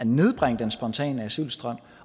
nedbringe den spontane asylstrøm